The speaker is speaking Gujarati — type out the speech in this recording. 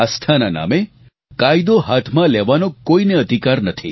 આસ્થાના નામે કાયદો હાથમાં લેવાનો કોઈને અધિકાર નથી